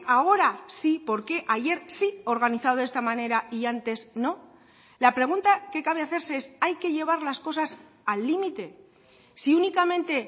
ahora sí por qué ayer sí organizado de esta manera y antes no la pregunta que cabe hacerse es hay que llevar las cosas al límite si únicamente